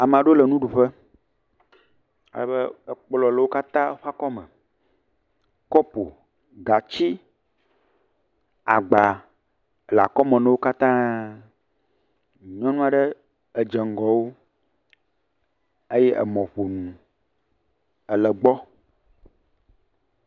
Ame aɖewo le nuɖuƒe, alebe ekplɔ le wo katã ƒe akɔme, kɔpo, gatsi agba le akɔme na wo kayã. Nyɔnu aɖe edze ŋgɔ wo eye emɔƒonu ele gbɔ.